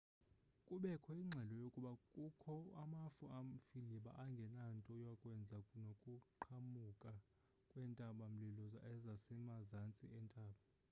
kubekho ingxelo yokuba kukho amafu amfiliba angenanto yakwenza nokuqhambuka kwentaba-mlilo asemazantsi entaba